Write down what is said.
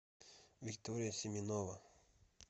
виктория семенова